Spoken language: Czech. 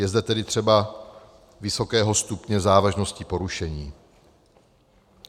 Je zde tedy třeba vysokého stupně závažnosti porušení.